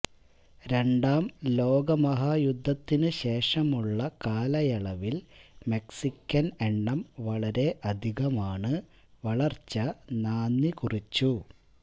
രണ്ടാം ലോകമഹായുദ്ധത്തിനു ശേഷമുള്ള കാലയളവിൽ മെക്സിക്കൻ എണ്ണം വളരെ അധികമാണ് വളർച്ച നാന്ദികുറിച്ചു